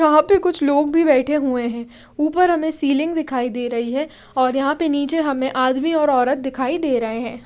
यहां पे कुछ लोग भी बैठे हुए हैं ऊपर हमें सीलिंग दिखाई दे रही है और यहां पे नीचे हमें आदमी और औरत दिखाई दे रहे हैं।